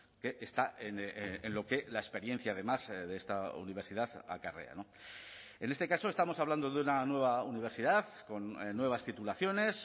que está en lo que la experiencia además de esta universidad acarrea en este caso estamos hablando de una nueva universidad con nuevas titulaciones